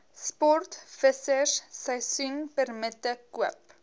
sportvissers seisoenpermitte koop